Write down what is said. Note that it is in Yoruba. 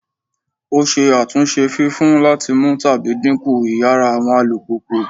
O ṣe atunṣe fifun lati mu tabi dinku iyara awọn alupupu